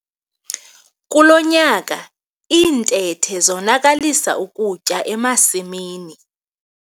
Kulo nyaka iintethe zonakalisa ukutya emasimini.